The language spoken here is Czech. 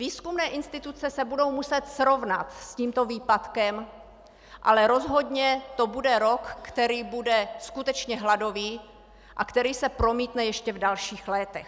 Výzkumné instituce se budou muset srovnat s tímto výpadkem, ale rozhodně to bude rok, který bude skutečně hladový a který se promítne ještě v dalších létech.